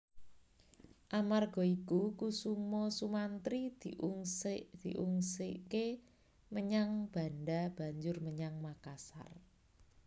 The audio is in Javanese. Amarga iku Kusumasumantri diungsike menyang Banda banjur menyang Makassar